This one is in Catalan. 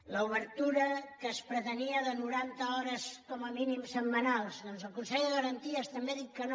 a l’obertura que es pretenia de no ranta hores com a mínim setmanals el consell de garanties també ha dit que no